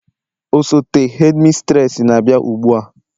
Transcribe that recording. osote hedimistresi na-abịa ugbua